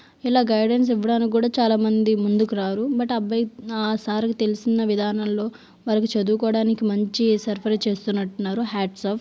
ఇలా గైడెన్స్ ఇవ్వడానికి కూడా చాలామంది ముందుకు రారు. బట్ అబ్బాయి ఆ సార్ కు తెలిసిన విధానంలో వాళ్లకి చదువుకోవడానికి మంచి సరఫరా చేస్తున్నట్టు హాట్సాఫ్.